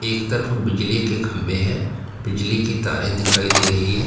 एक तरफ बिजली के खंबे है बिजली की तारें दिखाई दे रही हैं।